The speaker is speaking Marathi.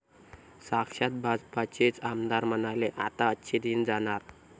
साक्षात भाजपचेच आमदार म्हणाले 'आता अच्छे दिन जाणार'!